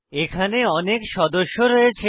এখানে অনেক সদস্য রয়েছে